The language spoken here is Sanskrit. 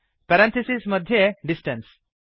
पेरेंथिसिस् मध्ये डिस्टेन्स